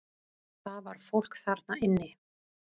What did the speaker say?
Það var fólk þarna inni!